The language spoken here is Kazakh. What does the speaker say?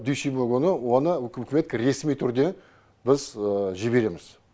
дүйсенбі күні оны үкіметке ресми түрде біз жібереміз